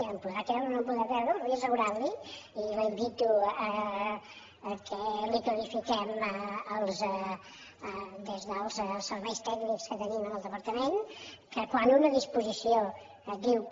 em podrà creure o no em podrà creure però vull assegurar li i la invito que li ho clarifiquem des dels serveis tècnics que tenim en el departament que quan una disposició diu que